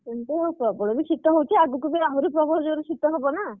କିନ୍ତୁ ପ୍ରବଳ ବି ଶୀତ ହଉଛି ଆଗକୁ ଆହୁରି ବି ପ୍ରବଳ ଜୋରେ ଶୀତ ହବ ନା!